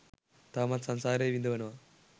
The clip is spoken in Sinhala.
තවමත් සංසාරේ විඳවනවා